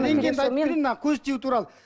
мына көз тию туралы